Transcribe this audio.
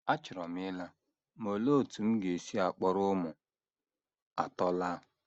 Achọrọ m ịla, ma olee otú m ga - esi kpọrọ ụmụ atọ laa?